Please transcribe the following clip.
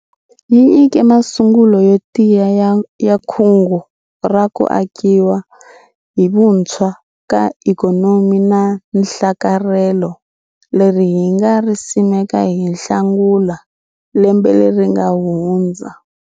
Yi nyike masungulo yo tiya ya Kungu ra ku Akiwa hi Vuntshwa ka ikhonomi na nhlakarhelo leri hi nga ri simeka hi Nhlangula lembe leri nga hundza.